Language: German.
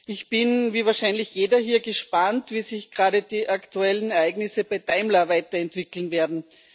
Ich bin, wie wahrscheinlich jeder hier, gespannt, wie sich gerade die aktuellen Ereignisse bei Daimler weiterentwickeln werden.